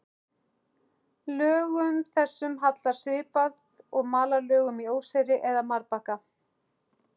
Lögum þessum hallar svipað og malarlögum í óseyri eða marbakka.